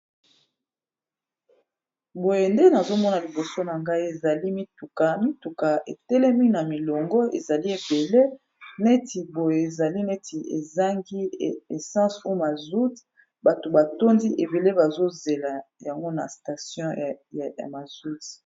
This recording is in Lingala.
boye nde nazomona liboso na ngai ezali mitukami tuka etelemi na milongo ezali ebele neti boye ezali neti ezangi essence umazout bato batondi ebele bazozela yango na station ya mazout